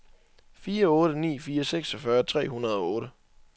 fire otte ni fire seksogfyrre tre hundrede og otte